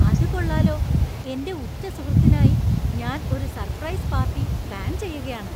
അത് കൊള്ളാലോ! എന്‍റെ ഉറ്റ സുഹൃത്തിനായി ഞാൻ ഒരു സർപ്രൈസ് പാർട്ടി പ്ലാന്‍ ചെയ്യുകയാണ്.